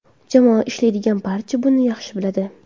Jamoada ishlaydigan barcha buni yaxshi biladi.